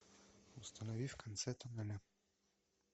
установи в конце тоннеля